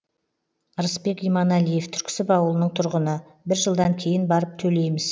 рысбек иманалиев түрксіб ауылының тұрғыны бір жылдан кейін барып төлейміз